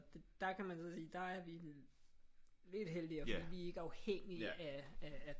Der kan man så sige der er vi lidt heldigere fordi vi er ikke afhængige af